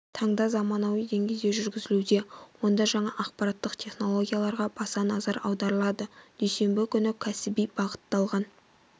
таңда заманауи деңгейде жүргізілуде онда жаңа ақпараттық технологияларға баса назар аударылады дүйсенбі күні кәсіби баытталған